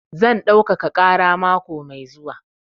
Zan ɗaukaka ƙara mako mai zuwa.